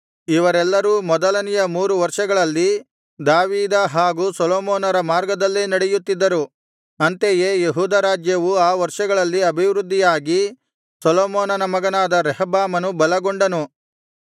ಇವರೆಲ್ಲರೂ ಮೊದಲನೆಯ ಮೂರು ವರ್ಷಗಳಲ್ಲಿ ದಾವೀದ ಹಾಗು ಸೊಲೊಮೋನರ ಮಾರ್ಗದಲ್ಲೇ ನಡೆಯುತ್ತಿದ್ದರು ಅಂತೆಯೇ ಯೆಹೂದ ರಾಜ್ಯವು ಆ ವರ್ಷಗಳಲ್ಲಿ ಅಭಿವೃದ್ಧಿಯಾಗಿ ಸೊಲೊಮೋನನ ಮಗನಾದ ರೆಹಬ್ಬಾಮನು ಬಲಗೊಂಡನು